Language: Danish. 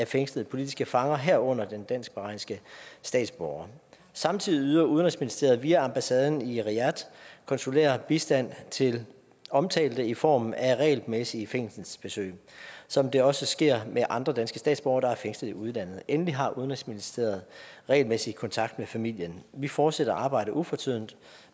fængslede politiske fanger herunder den dansk bahrainske statsborger samtidig yder udenrigsministeriet via ambassaden i riyadh konsulær bistand til omtalte i form af regelmæssige fængselsbesøg som det også sker med andre danske statsborgere der er fængslet i udlandet endelig har udenrigsministeriet regelmæssig kontakt med familien vi fortsætter arbejdet ufortrødent